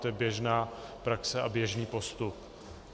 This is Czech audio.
To je běžná praxe a běžný postup.